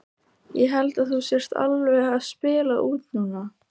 Ég held að þú sért alveg að spila út núna!